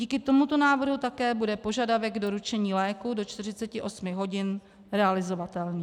Díky tomuto návrhu také bude požadavek doručení léků do 48 hodin realizovatelný.